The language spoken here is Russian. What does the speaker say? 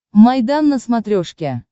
майдан на смотрешке